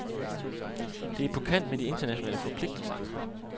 Det er på kant med de internationale forpligtelser.